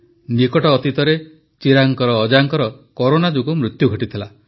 ନିକଟ ଅତୀତରେ ଚିରାଗଙ୍କ ଅଜାଙ୍କର କରୋନା ଯୋଗୁଁ ମୃତ୍ୟୁ ଘଟିଥିଲା